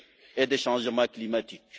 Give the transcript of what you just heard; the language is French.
et des changements climatiques.